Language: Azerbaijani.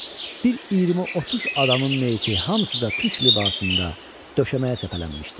Bir 20-30 adamın meyiti, hamısı da türk libasında döşəməyə səpələnmişdi.